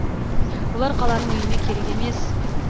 бұлар қаланың үйіне керек емес